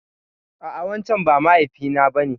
A'a wancen ba mahaifi na ba ne.